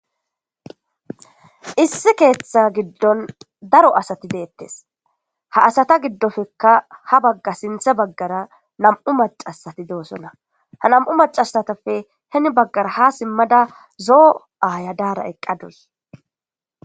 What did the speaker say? issi keeththa giddon daro asati deettes ha asata giddofekka ha bagga sinthe baggara nam7u macasati doosona ha nam7u macasatappe heni baggara ha simmada zoo aayadaara eqqadus